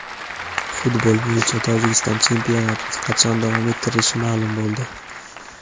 Futbol bo‘yicha Tojikiston chempionati qachon davom ettirilishi ma’lum bo‘ldi.